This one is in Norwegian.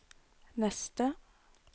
neste